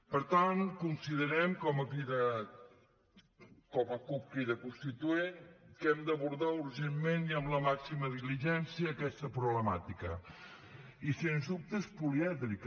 per tant considerem com a cup crida constituent que hem d’abordar urgentment i amb la màxima diligència aquesta problemàtica i sens dubte és polièdrica